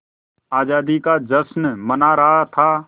आज़ादी का जश्न मना रहा था